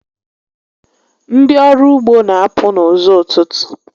Ndị ọrụ ugbo n'apụ n'ụzọ ụtụtụ